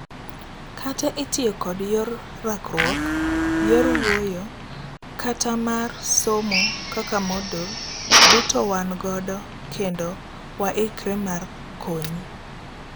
Kata itiyo kod yor rakruok, yor wuoyo, kata mar somo kaka Moodle ,duto wan godo kendo waikre mar konyi.